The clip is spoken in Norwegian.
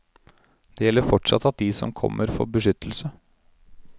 Det gjelder fortsatt at de som kommer får beskyttelse.